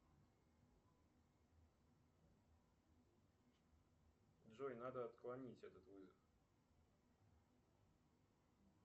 джой надо отклонить этот вызов